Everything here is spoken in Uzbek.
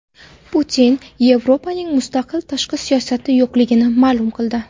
Putin Yevropaning mustaqil tashqi siyosati yo‘qligini ma’lum qildi.